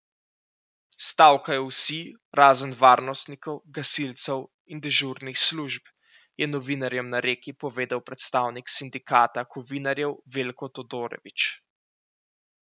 Stavkajo vsi, razen varnostnikov, gasilcev in dežurnih služb, je novinarjem na Reki povedal predstavnik sindikata kovinarjev Veljko Todorović.